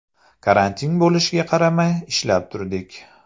Karantin bo‘lishiga qaramay, ishlab turdik.